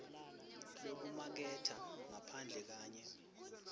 lwekumaketha ngaphandle kanye